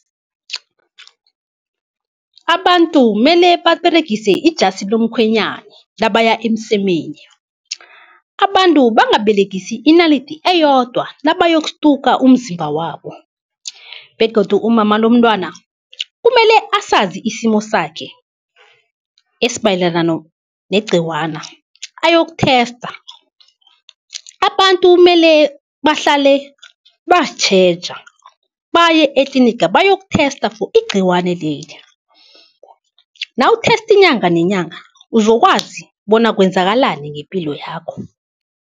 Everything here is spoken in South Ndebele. Abantu mele baberegise ijasi lomkhwenyani nabaya emsemeni, abantu bangaberegisi inalidi eyodwa nabayokstuka umzimba wabo begodu umama lomntwana kumele asazi isimo sakhe esimayelana negciwana ayoku-tester. Abantu mele bahlale bazitjheja, baye etliniga bayoku-tester for igciwane leli, nawu-tester inyanga nenyanga uzokwazi bona kwenzakalani ngepilo yakho.